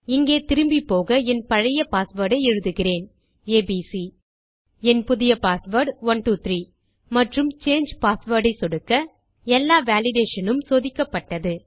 இங்கே திரும்பிப்போக என் பழைய பாஸ்வேர்ட் ஐ எழுதுகிறேன் ஏபிசி என் புதிய பாஸ்வேர்ட் 123 மற்றும் சாங்கே பாஸ்வேர்ட் ஐ சொடுக்க எல்லா வேலிடேஷன் உம் சோதிக்கப்பட்டது